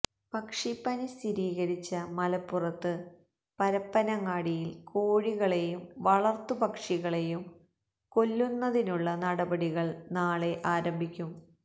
പക്ഷിപ്പനി സ്ഥിരീകരിച്ച മലപ്പുറത്ത് പരപ്പനങ്ങാടിയില് കോഴികളെയും വളര്ത്തുപക്ഷികളെയും കൊല്ലുന്നതിനുള്ള നടപടികള് നാളെ ആരംഭിക്കും